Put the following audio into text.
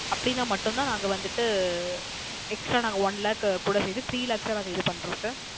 அப்படின மட்டும் தான் நாங்க வந்துட்டு அஹ் நாங்க Extra One Lakh கூட சேர்த்து Three Lakhs ஆ இது பண்றோம் Sir